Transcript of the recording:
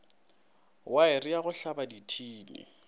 waere ya go tlhaba dithini